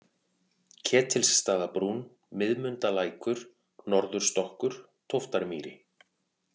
Ketilsstaðabrún, Miðmundalækur, Norðurstokkur, Tóftarmýri